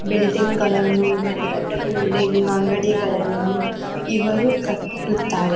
Building ಗಳ್ಳನ್ನು ದೊಡ್ಡ ದೊಡ್ಡ ಬಿಲ್ಡಿಂಗ್ ಅಂಗಡಿಗಲ್ಲನ್ನು ಇವರು ಕಟ್ಟುತ್ತಾರೆ.